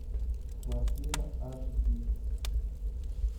квартира аш ди